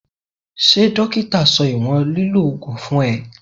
Ṣé dókítà sọ ìwọ̀n lílọ Ògùn fún ẹ?